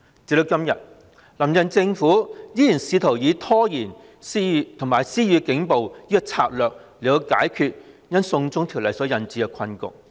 直到今天，"林鄭"政府依然試圖透過拖延和施以警暴的策略解決因"送中條例"所引致的困局。